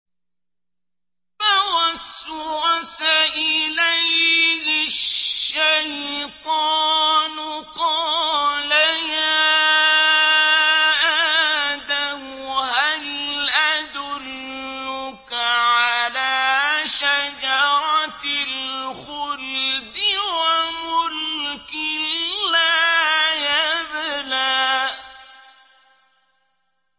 فَوَسْوَسَ إِلَيْهِ الشَّيْطَانُ قَالَ يَا آدَمُ هَلْ أَدُلُّكَ عَلَىٰ شَجَرَةِ الْخُلْدِ وَمُلْكٍ لَّا يَبْلَىٰ